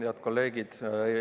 Head kolleegid!